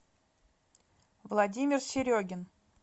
владимир серегин